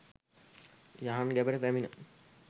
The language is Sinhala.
යහන් ගැබට පැමිණ